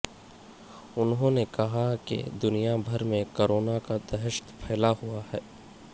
انھوں نے کہا کہ دنیا بھر میں کورونا کا دہشت پھیلا ہوا ہے